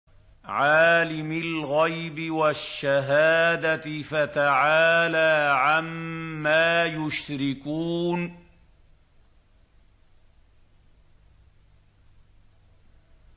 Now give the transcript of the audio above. عَالِمِ الْغَيْبِ وَالشَّهَادَةِ فَتَعَالَىٰ عَمَّا يُشْرِكُونَ